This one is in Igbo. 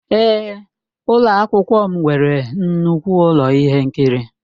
Èé, ụlọ akwụkwọ m nwere nnukwu ụlọ ihe nkiri.